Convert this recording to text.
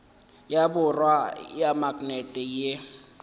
ya borwa ya maknete ye